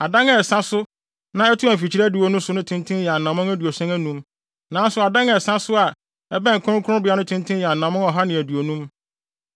Adan a ɛsa so na ɛtoa mfikyiri adiwo no so no tenten yɛ anammɔn aduɔson anum, nanso adan a ɛsa so a ɛbɛn kronkronbea no tenten yɛ anammɔn ɔha ne aduonum.